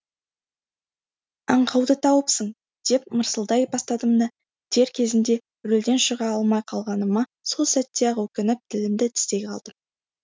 аңқауды тауыпсың деп мырсылдай бастадым да дер кезінде рөлден шыға алмай қалғаныма сол сәтте ақ өкініп тілімді тістей қалдым